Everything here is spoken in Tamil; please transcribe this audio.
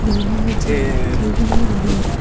விநாயகர் சைடுல கையுமே நிறைய இருக்கு.